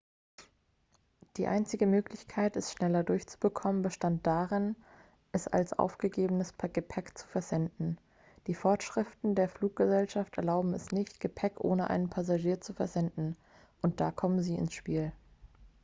die einzige möglichkeit es schneller durchzubekommen bestand darin es als aufgegebenes gepäck zu versenden die vorschriften der fluggesellschaften erlauben es nicht gepäck ohne einen passagier zu versenden und da kommen sie ins spiel